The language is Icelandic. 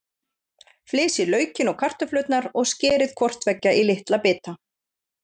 Flysjið laukinn og kartöflurnar og skerið hvort tveggja í litla bita.